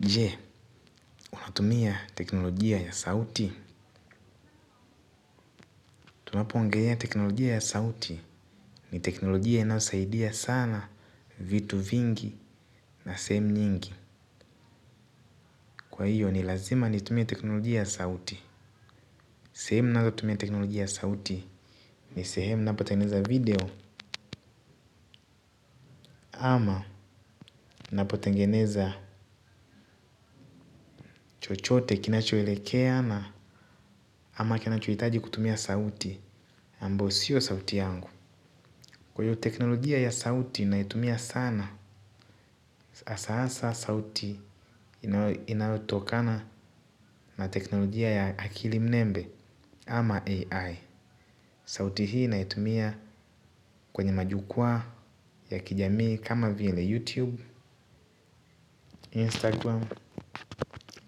Jee, unatumia teknolojia ya sauti. Tunapoongelea teknolojia ya sauti ni teknolojia inasaidia sana vitu vingi na sehemu nyingi. Kwa hiyo ni lazima nitumia teknolojia ya sauti. Sehemu nazotumia teknolojia ya sauti ni sehemu napotengeneza video ama napotengeneza chochote kinachoelekea na ama kinachohitaji kutumia sauti ambayo sio sauti yangu. Kwa hio teknolojia ya sauti ninaitumia sana, asa asa sauti inayo inayotokana na teknolojia ya akili mnembe ama AI. Sauti hii ninaitumia kwenye majukwaa ya kijamii kama vile YouTube, Instagram